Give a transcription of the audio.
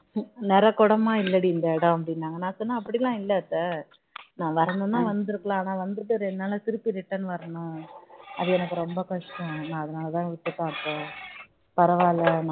நிறைகுடமா இல்லடி இந்த இடம் அப்படின்னாங்க நான் சொன்னேன் அப்படிலாம் இல்ல அத்தை நான் வரணும்னா வந்திருக்கலாம் ஆனா வந்துட்டு இரண்டிஉ நாளுல திரும்ப வரணும் அது எனக்கு ரொம்ப கஷ்டம் அதனால தான் விட்டுட்டேன் அத்த பரவாயில்லன்னாங்க